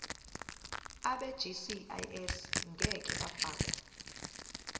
abegcis ngeke bafakwa